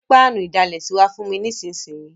Gbé pánù ìdalẹ̀sí wa fùn mi nísinsìn yi